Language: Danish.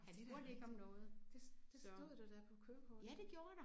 Ja det da rigtigt. Det stod der da på kørekort